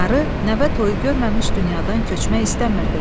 Qarı nəvə toyu görməmiş dünyadan köçmək istəmirdi.